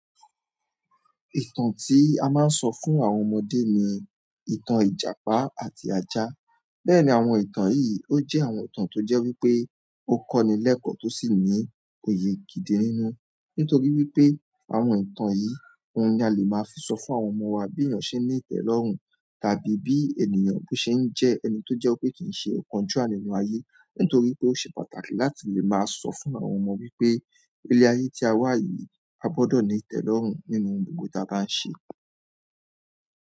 Ìtàn tí a máa ń sọ fún àwọn ọmọdé ni ìtàn ìjàpá àti ajá. Bẹ́ẹ̀ni, àwọn ìtàn yìí ó jẹ́ àwọn ìtàn tó jẹ́ wípé ó kọ́ni lẹ́kọ̀ọ́ tó sì ní oyè gidi nínú. Nítorí wípé àwọn ìtàn yìí ni a lè máa fi sọ fún àwọn ọmọ wa bí ènìyàn ṣe ń ní ìtẹ́lọ́rùn tàbí bí ènìyàn ṣe ń jẹ ẹni tó jẹ́ pé kìí ṣe ókanjùá nínú ayé. Nítorí pé ó ṣe pàtàkì láti lè máa sọ fún àwọn ọmọ wípé ilé ayé tí a wà yìí a gbọ́dọ̀ ní ìtẹ́lọ́rùn nínú ohun gbogbo tí a bá ń ṣe.